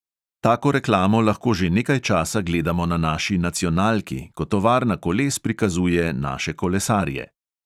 Tako reklamo lahko že nekaj časa gledamo na naši nacionalki, ko tovarna koles prikazuje naše kolesarje.